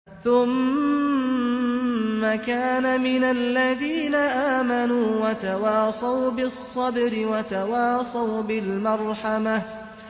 ثُمَّ كَانَ مِنَ الَّذِينَ آمَنُوا وَتَوَاصَوْا بِالصَّبْرِ وَتَوَاصَوْا بِالْمَرْحَمَةِ